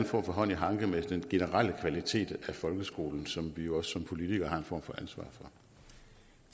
form for hånd i hanke med den generelle kvalitet af folkeskolen som vi jo også som politikere